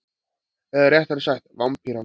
Eða réttara sagt Vampýran.